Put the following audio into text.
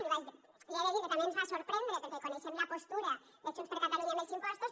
li he de dir que també ens va sorprendre perquè coneixem la postura de junts per catalunya amb els impostos